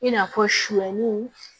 I n'a fɔ sɔliw